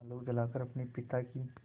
आलोक जलाकर अपने पिता की